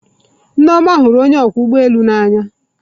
Nneoma hụrụ onye ọkwọ ụgbọ elu n'anya.